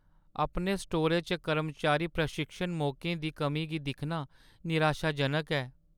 अपने स्टोरै च कर्मचारी प्रशिक्षण मौकें दी कमी गी दिक्खना निराशाजनक ऐ।